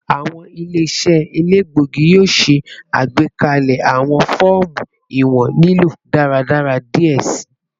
Awọn ile-iṣẹ elegbogi yoo ṣe agbekalẹ awọn fọọmu iwọn lilo daradara diẹ sii